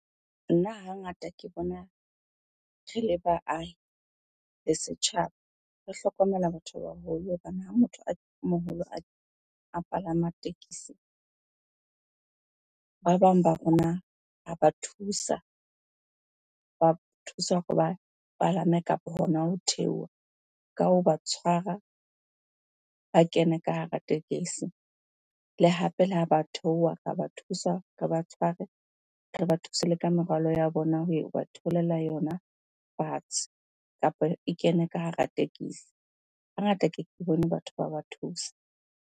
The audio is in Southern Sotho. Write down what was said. Nna hangata ke bona re le baahi le setjhaba, re hlokomela batho ba baholo hobane ha motho a moholo a palama tekesi, ba bang ba rona ra ba thusa. Ba thusa hore ba palame kapa hona ho theoha ka hoba tshwara, ba kene ka hara tekesi. Le hape le ha ba theoha, ra ba thusa, re ba tshware. Re ba thuse le ka merwalo ya bona ba theolela yona fatshe kapa e kene ka hara tekesi. Hangata keke bone batho ba ba thusa.